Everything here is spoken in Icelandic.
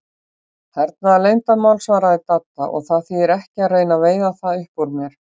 Hernaðarleyndarmál svaraði Dadda, og það þýðir ekki að reyna að veiða það upp úr mér